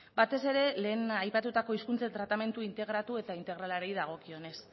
batez ere lehen aipatutako hizkuntzen tratamendu integratu eta integralari dagokionez